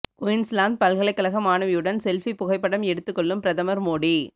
Queensland பல்கலைக்கழக மாணவியுடன் selfie புகைப்படம் எடுத்துக் கொள்ளும் பிரதமர் மோடி